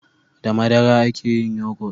da madara a ke yin yogot